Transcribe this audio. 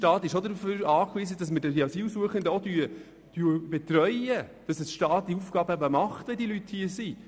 Unser Staat ist auch darauf angewiesen, dass wir die Asylsuchenden betreuen, wenn sie hier sind.